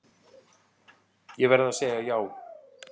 Ég verð að segja já.